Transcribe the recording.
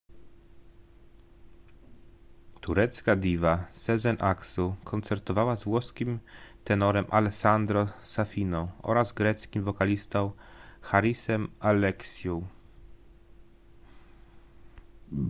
turecka diwa sezen aksu koncertowała z włoskim tenorem alessandro safiną oraz greckim wokalistą harisem alexiou